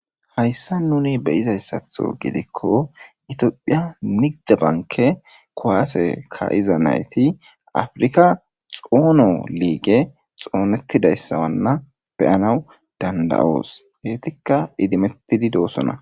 hayssa nuni beyizayssatho gidikko itiophiya nigide banke kowaase kayiza nayti afrika xoono liige xoonettidayssawanna beyanaw dandayoos heetikka idimettidi doosona